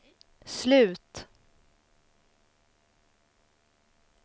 slut